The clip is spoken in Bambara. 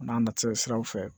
A n'a natiraw fɛ